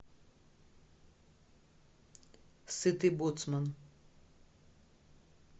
сытый боцман